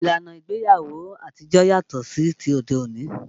Ìlànà ìgbéyàwó àtijó yàtọ̀ sí ti òde òní